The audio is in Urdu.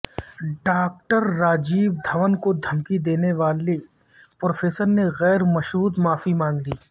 ڈاکٹر راجیو دھون کو دھمکی دینے والے پروفیسر نے غیر مشروط معافی مانگ لی